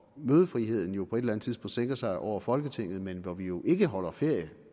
mødefriheden jo på et eller anden sænker sig over folketinget hvor vi jo ikke holder ferie